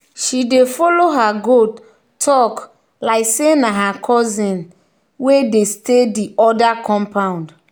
she dey follow her goat talk like say na her cousin wey dey stay the other compound.